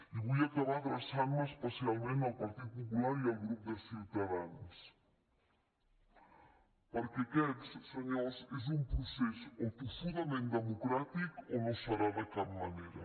i vull acabar adreçant me especialment al partit popular i al grup de ciutadans perquè aquest senyors és un procés o tossudament democràtic o no serà de cap manera